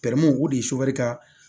o de ye ka